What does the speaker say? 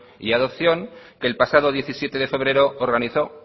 y adopción que el pasado diecisiete de febrero organizó